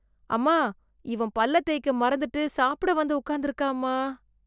அம்மா, இவன் பல்லை தேய்க்க மறந்துட்டு, சாப்பிட வந்து உக்காந்துருக்கான்மா...